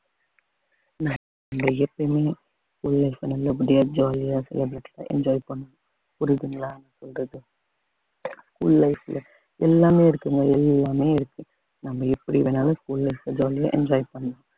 உண்மைய சொல்லுங்க இப்படியா jolly யா enjoy பண்ணுவோம் புரியுதுங்களா உங்களுக்கு school life ல எல்லாமே இருக்குங்க எல்லாமே இருக்கு நம்ம எப்படி வேணாலும் school life ல jolly யா enjoy பண்ணுங்க